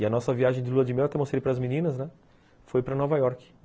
E a nossa viagem de lua de mel, até mostrei para as meninas, foi para Nova York.